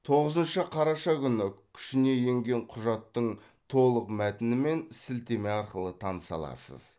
тоғызыншы қараша күні күшіне енген құжаттың толық мәтінімен сілтеме арқылы таныса аласыз